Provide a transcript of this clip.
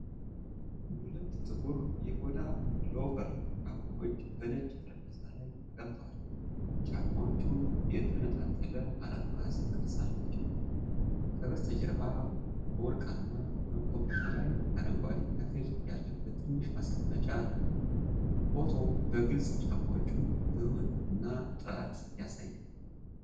ሁለት ጥቁር፣ የቆዳ ሎፈር ጫማዎች በነጭ ጠረጴዛ ላይ ተቀምጠዋል። ጫማዎቹ የተንጣለለ አራት ማዕዘን ቅርፅ አላቸው፣ ከበስተጀርባ በወርቃማ መቆሚያ ላይ አረንጓዴ ተክል ያለበት ትንሽ ማስቀመጫ አለ። ፎቶው በግልጽ የጫማዎቹን ብሩህነትና ጥራት ያሳያል።